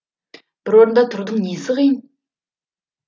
бір орында тұрудың несі қиын